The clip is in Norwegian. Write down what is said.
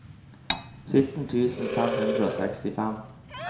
sytten tusen fem hundre og sekstifem